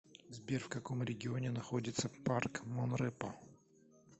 сбер в каком регионе находится парк монрепо